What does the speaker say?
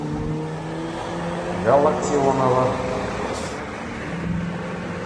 галактионова